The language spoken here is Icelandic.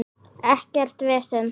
Ekkert vesen!